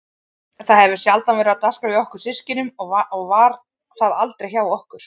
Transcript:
Það hefur sjaldan verið á dagskrá hjá okkur systkinunum og var það aldrei hjá okkur